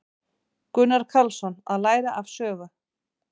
Gunnar Karlsson: Að læra af sögu.